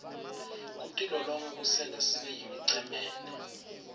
kutilolonga kusenta sibeyimicemene